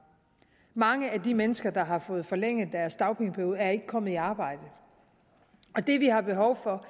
mange af de mennesker der har fået forlænget deres dagpengeperiode er ikke kommet i arbejde det vi har behov for